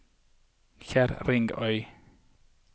Kjerringøy